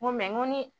N ko ni